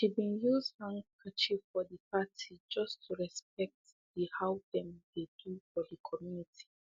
she bin use handscarf for the party just to respect the how them dey do for the community